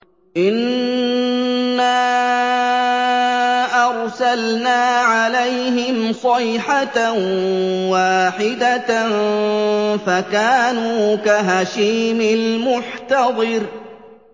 إِنَّا أَرْسَلْنَا عَلَيْهِمْ صَيْحَةً وَاحِدَةً فَكَانُوا كَهَشِيمِ الْمُحْتَظِرِ